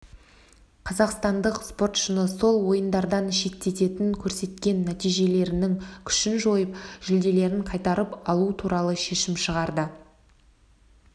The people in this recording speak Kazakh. қазақстандық спортшыны сол ойындардан шеттетіп көрсеткен нәтижелерінің күшін жойып жүлделерін қайтарып алу туралы шешім шығарды